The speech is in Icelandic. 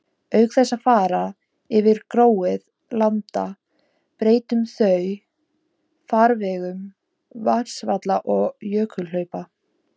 Auk þess að fara yfir gróið land breyttu þau farvegum vatnsfalla og jökulhlaupa.